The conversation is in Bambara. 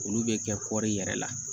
Olu bɛ kɛ kɔɔri yɛrɛ la